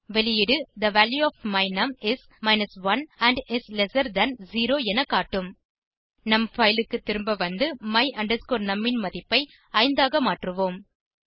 வெளியீடு the value of my num is 1 and is lesser than 0 என காட்டும் நம் fileக்கு திரும்ப வந்து my num ன் மதிப்பை 5 ஆக மாற்றுவோம்